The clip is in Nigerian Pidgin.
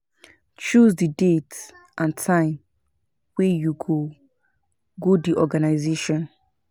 Choose di date and time wey you go, go di organisation